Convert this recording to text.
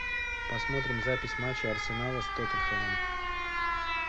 посмотрим запись матча арсенала с тоттенхэмом